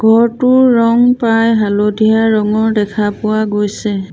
ঘৰটোৰ ৰং প্ৰায় হালধীয়া ৰঙৰ দেখা পোৱা গৈছে।